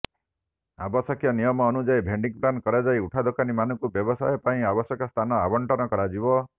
ଆବଶ୍ୟକ ନିୟମ ଅନୁଯାୟୀ ଭେଣ୍ଡିଂ ପ୍ଲାନ କରାଯାଇ ଉଠାଦୋକାନୀ ମାନଙ୍କୁ ବ୍ୟବସାୟ ପାଇଁ ଆବଶ୍ୟକ ସ୍ଥାନ ଆବଂଟନ କରାଯିବ